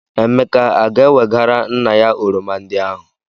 Emeka a ga-ewegara nna ya oroma ndị ahụ?